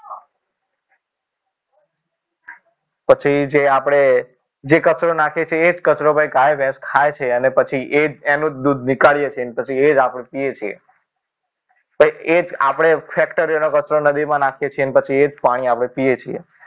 પછી જે આપણે જે કચરો નાખીએ છીએ એ જ કચરો પછી ગાય ભેસ ખાય છે અને પછી એ જ એનું દૂધ નીકળીએ છીએ પછી એ જ આપણે પીએ છીએ એક આપણે factory નો કચરો નદીમાં નાખીએ છીએ પછી એ જ પાણી આપણે પીએ છીએ